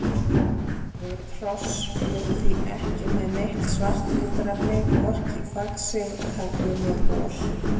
Rauð hross eru því ekki með neitt svart litarefni, hvorki í faxi, tagli né bol.